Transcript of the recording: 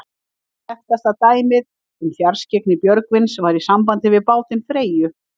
Eitt þekktasta dæmið um fjarskyggni Björgvins var í sambandi við bátinn Freyju.